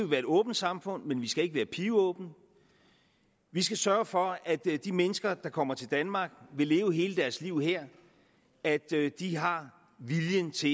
være et åbent samfund men vi skal ikke være pivåbent vi skal sørge for at de mennesker der kommer til danmark vil leve hele deres liv her at de har viljen til